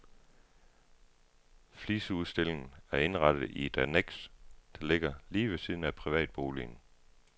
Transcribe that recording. Fliseudstillingen er indrettet i et anneks, der ligger lige ved siden af privatboligen.